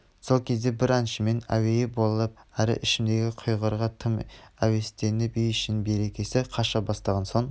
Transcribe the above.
сол кезде бір әншімен әуейі болып әрі ішімдігі құрғырға тым әуестеніп үй-ішінің берекесі қаша бастаған соң